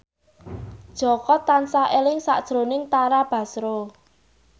Jaka tansah eling sakjroning Tara Basro